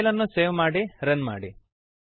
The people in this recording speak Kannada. ಫೈಲನ್ನು ಸೇವ್ ಮಾಡಿ ರನ್ ಮಾಡಿ